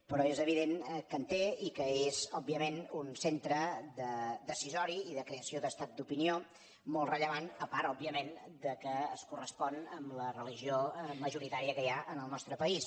però és evident que en té i que és òbviament un centre decisori i de creació d’estat d’opinió molt rellevant a part òbviament que es correspon amb la religió majoritària que hi ha en el nostre país